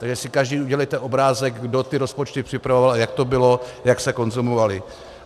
Takže si každý udělejte obrázek, kdo ty rozpočty připravoval a jak to bylo, jak se konzumovaly.